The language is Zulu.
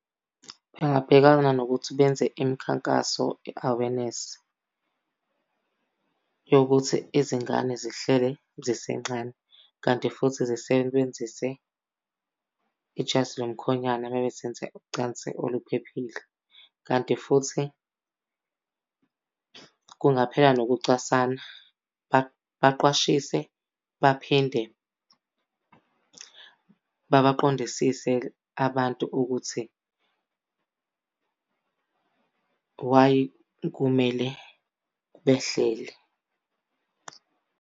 Bengabhekana nokuthi benze imikhankaso, i-awareness, yokuthi izingane zihlele zisencane. Kanti futhi zisebenzise ijazi lo mkhwonyana uma ngabe zenza ucansi oluphephile. Kanti futhi kungaphela nokucwasana. Baqwashise baphinde babaqondisise abantu ukuthi, why kumele behlele.